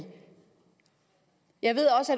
jeg ved at